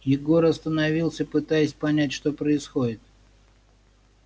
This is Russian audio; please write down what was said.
егор остановился пытаясь понять что происходит